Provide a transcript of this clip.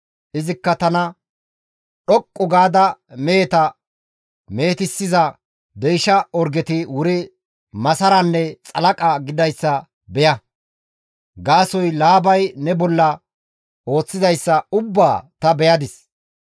Izikka tana, ‹Dhoqqu gaada meheta mehetissiza deysha orgeti wuri masaranne xalaqa gididayssa beya; gaasoykka Laabay ne bolla ooththizayssa ubbaa ta beyadis.